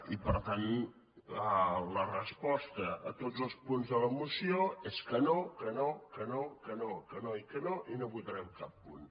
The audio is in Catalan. i per tant la resposta a tots els punts de la moció és que no que no que no que no que no i que no i no votarem cap punt